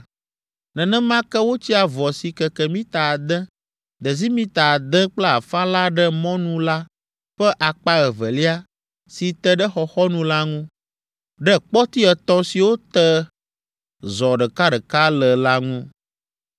Nenema ke wotsi avɔ si keke mita ade, desimita ade kple afã la ɖe mɔnu la ƒe akpa evelia si te ɖe xɔxɔnu la ŋu, ɖe kpɔti etɔ̃ siwo te zɔ ɖekaɖeka le la ŋu.